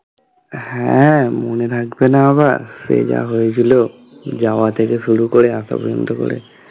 হ্যাঁ মনে থাকবে না আবার সে যা হয়েছিল যাওয়া থেকে শুরু করে আসা পর্যন্ত করে